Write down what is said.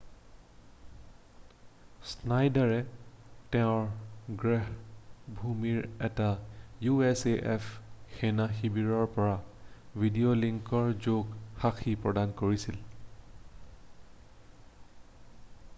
স্নাইডাৰে তেওঁৰ গৃহভূমিৰ এটা usaf সেনা শিৱৰৰ পৰা ভিডিঅ'লিংকৰ যোগে সাক্ষী প্ৰদান কৰিছিল